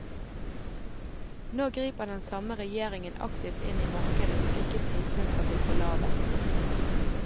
Nå griper den samme regjeringen aktivt inn i markedet så ikke prisene skal bli for lave.